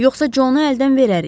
Yoxsa Conu əldən verərik.